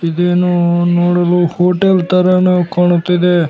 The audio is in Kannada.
ಇದೇನೋ ನೋಡಲು ಹೋಟೆಲ್ ತರನು ಕಾಣುತ್ತಿದೆ.